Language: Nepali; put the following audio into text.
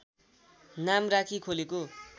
नाम राखी खोलेको